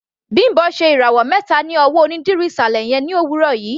Bimbo ṣe ìràwọ̀ mẹta ní ọwọ́ onídìrí ìsàlẹ̀ yẹn ní òwúrọ̀ yìí.